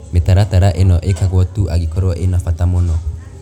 Mĩtaratara ĩno ĩkagwo tu angĩkorũo ĩna bata mũno.